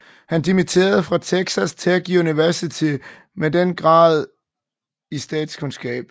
Han dimitterede fra Texas Tech Universitet med den grad i statskundskab